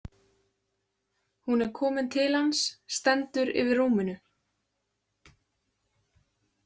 Hún er komin til hans, stendur yfir rúminu.